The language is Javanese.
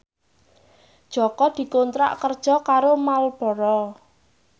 Jaka dikontrak kerja karo Marlboro